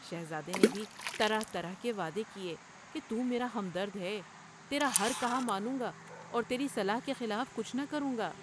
شہزادے نے بھی طرح طرح کے وعدے کیے کہ '' تو میرا ہمدرد ہے ، تیرا ہر کہامانوں گا اور تیری صلاح کے خلاف کچھ نہ کروں گا ۔